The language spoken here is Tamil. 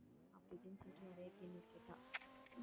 அப்படி இப்படின்னு சொல்லிட்டு நிறைய கேள்வி கேட்டா